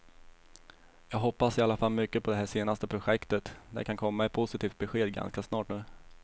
Jag hoppas i alla fall mycket på det här senaste projektet, det kan komma ett positivt besked ganska snart nu.